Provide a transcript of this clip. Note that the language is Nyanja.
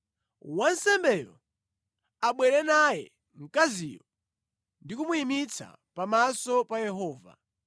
“ ‘Wansembe abwere naye mkaziyo ndi kumuyimitsa pamaso pa Yehova.